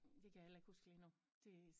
Det kan jeg heller ikke huske lige nu det